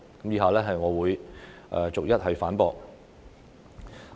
以下我會逐一反駁。